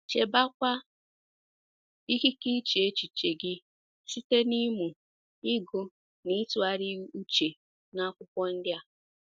Chebekwa ikike iche echiche gị site n’ịmụ, ịgụ na ịtụgharị uche n’Akwụkwọ ndi a